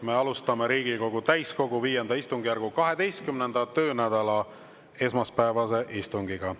Me alustame Riigikogu täiskogu V istungjärgu 12. töönädala esmaspäevast istungit.